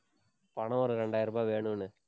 பணம் ஒரு இரண்டாயிரம் ரூபாய் வேணும்னு.